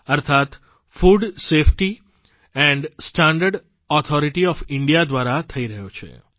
અર્થાત્ food safety and standard authority of India દ્વારા થઇ રહ્યો છે